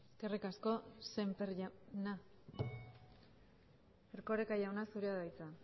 eskerrik asko sémper jauna erkoreka jauna zurea da hitza